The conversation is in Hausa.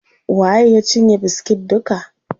Waye ya cinye biskit duka?